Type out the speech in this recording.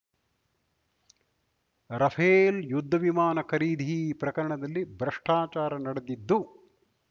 Rafale ಯುದ್ಧ ವಿಮಾನ ಖರೀದಿ ಪ್ರಕರಣದಲ್ಲಿ ಭ್ರಷ್ಟಾಚಾರ ನಡೆದಿದ್ದು